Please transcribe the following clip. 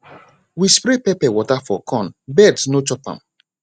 we spray pepper water for corn birds no chop am